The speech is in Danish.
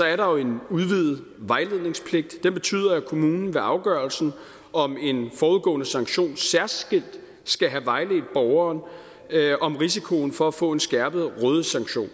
er der jo en udvidet vejledningspligt den betyder at kommunen ved afgørelsen om en forudgående sanktion særskilt skal have vejledt borgeren om risikoen for at få en skærpet rådighedssanktion